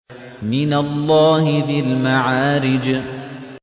مِّنَ اللَّهِ ذِي الْمَعَارِجِ